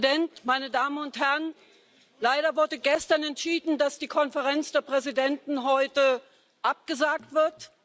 Herr Präsident, meine Damen und Herren! Leider wurde gestern entschieden, dass die Konferenz der Präsidenten heute abgesagt wird.